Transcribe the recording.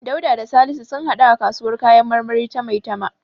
Dauda da Salisu sun haɗu a kasuwar kayan marmari ta Maitama.